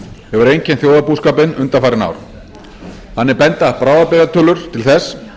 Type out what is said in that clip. hefur einkennt þjóðarbúskapinn undanfarin ár þannig benda bráðabirgðatölur til þess